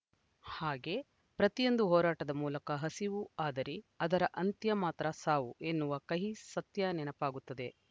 ಹಾಗೆ ಪ್ರತಿಯೊಂದು ಹೋರಾಟದ ಮೂಲಕ ಹಸಿವು ಆದರೆ ಅದರ ಅಂತ್ಯ ಮಾತ್ರ ಸಾವು ಎನ್ನುವ ಕಹಿ ಸತ್ಯ ನೆನಪಾಗುತ್ತದೆ